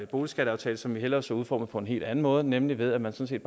boligskatteaftale som vi hellere så udformet på en helt anden måde nemlig ved at man sådan